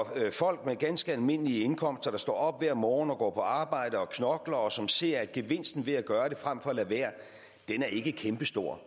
at arbejde folk med ganske almindelige indkomster der står op hver morgen og går på arbejde og knokler og som ser at gevinsten ved at gøre det frem for at lade være ikke er kæmpestor